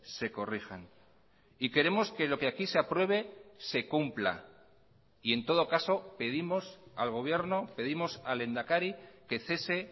se corrijan y queremos que lo que aquí se apruebe se cumpla y en todo caso pedimos al gobierno pedimos al lehendakari que cese